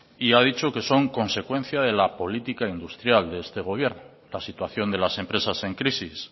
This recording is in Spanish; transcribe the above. y ha dicho que son consecuencia de la política industrial de este gobierno la situación de las empresas en crisis